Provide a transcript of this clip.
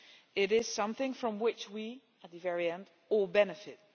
It is something from which we all, at the very end, benefit.